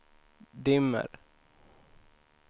dimmer